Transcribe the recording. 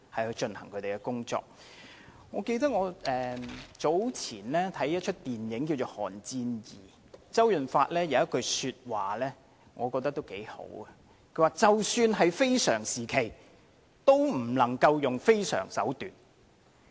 我早前看了一齣名為"寒戰 II" 的電影，我認為當中周潤發有一句話也不錯，他說即使是非常時期，也不能用非常手段。